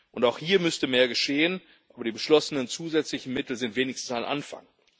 Und auch hier müsste mehr geschehen, und die beschlossenen zusätzlichen Mittel sind wenigstens ein Anfang.